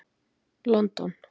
London